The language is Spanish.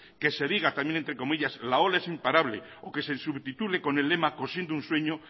que se diga también entre comillas la ola es imparable o que se subtitule con el lema cosiendo un sueño